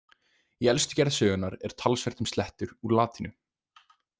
Í elstu gerð sögunnar er talsvert um slettur úr latínu.